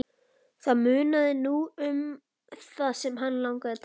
Það munaði nú um það sem hann lagði til.